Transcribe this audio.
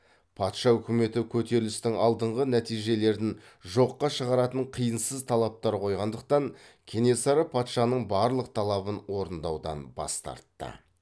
патша өкіметі көтерілістің алдыңғы нәтижелерін жоққа шығаратын қисынсыз талаптар қойғандықтан кенесары патшаның барлық талабын орындаудан бас тартты